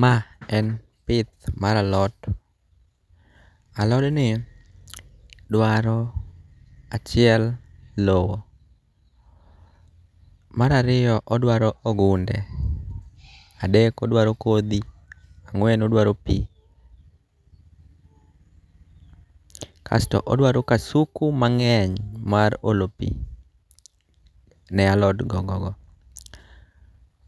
Ma en pith maralot , alodni dwaro: achiel lowo, marariyo odwaro ogunde, adek odwaro kothi, angwen odwaro pi, kasto odwaro kasuku mange'ny mar olo pi ne alot gogono,